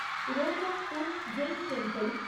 Ranakpur Jain temple